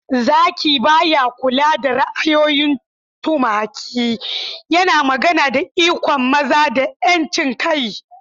"Zaki ba ya kula da ra'ayoyin tumaki," yana magana da ikon maza da 'yancin kai.